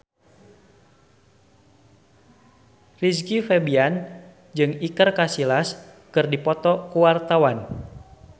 Rizky Febian jeung Iker Casillas keur dipoto ku wartawan